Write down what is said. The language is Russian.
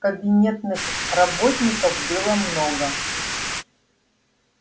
кабинетных работников было много